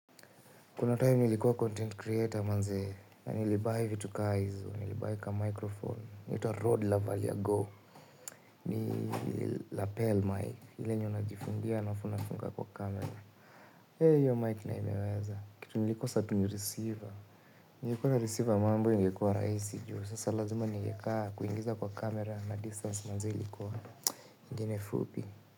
Kuna time nilikuwa content creator manzee na nilibuy vitu ka hizo nilibuy ka microphone inaitwa road lavalia go ni lapel mai ile yenye unajifungia alafu unafunga kwa camera. Hee hiyo mic nayo imeweza kitu nilikosa tu ni receiver. Ningekuwa receiver mambo ingekuwa rahisi juu sasa lazima nilikaa kuingiza kwa camera na distance manzee ilikuwa ingine fupi.